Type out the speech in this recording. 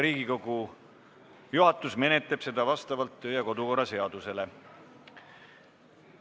Riigikogu juhatus menetleb seda vastavalt kodu- ja töökorra seadusele.